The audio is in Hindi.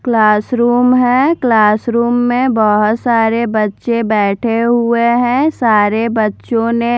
क्लासरूम है क्लासरूम में बहुत सारे बच्चे बैठे हुए हैं सारे बच्चों ने--